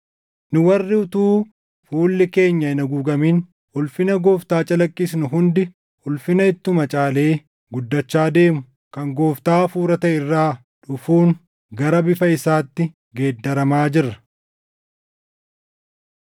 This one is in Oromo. Nu warri utuu fuulli keenya hin haguugamin ulfina Gooftaa calaqqisnu hundi ulfina ittuma caalee guddachaa deemu kan Gooftaa Hafuura taʼe irraa dhufuun gara bifa isaatti geeddaramaa jirra.